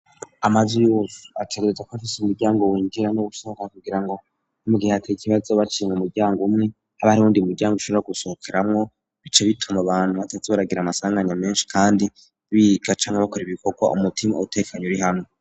Amazu yose ategerezwa kuba afise umuryango winjira n'uwusohoka kugira ngo mu gihe hateye ikibazo baciye mu muryango umwe, habe hari uwundi muryango ushobora gusohokeramwo, bice bituma abantu bataza baragira amasanganya menshi kandi biga canke bakora ibikokwa umutima utekanye, uri hamwe.